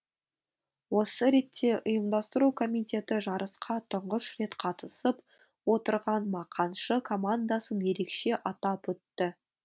осы ретте ұйымдастыру комитеті жарысқа тұңғыш рет қатысып отырған мақаншы командасын ерекше атап өтті